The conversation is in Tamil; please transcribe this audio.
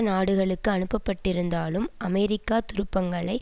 நாடுகளுக்கு அனுப்பப்பட்டிருந்தாலும் அமெரிக்க துருப்பங்களை